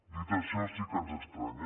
dit això sí que ens estranya